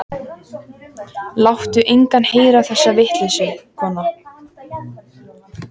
Láttu engan heyra þessa vitleysu, kona.